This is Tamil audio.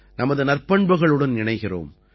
நமது நற்பண்புகளுடன் இணைகிறோம்